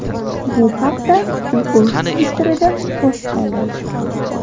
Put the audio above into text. Bu haqda u o‘z Twitter’ida post qoldirdi.